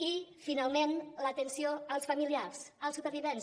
i finalment l’atenció als familiars als supervivents